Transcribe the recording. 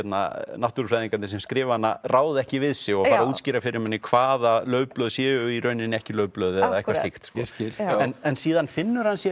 náttúrufræðingarnir sem skrifa hana ráða ekki við sig og fara að útskýra fyrir manni hvaða laufblöð séu í rauninni ekki laufblöð eða eitthvað slíkt en síðan finna þeir sér